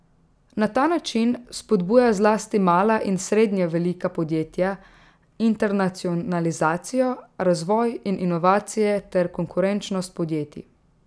Na ta način spodbuja zlasti mala in srednje velika podjetja, internacionalizacijo, razvoj in inovacije ter konkurenčnost podjetij.